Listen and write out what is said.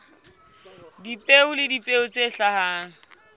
dipeo le dipeo tse hlahang